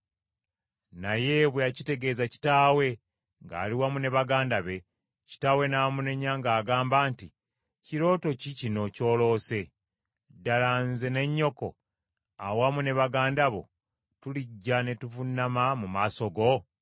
Naye bwe yakitegeeza kitaawe ng’ali wamu ne baganda be, kitaawe n’amunenya ng’agamba nti, “Kirooto ki kino ky’oloose? Ddala nze ne nnyoko awamu ne baganda bo tulijja ne tuvuunama mu maaso go?”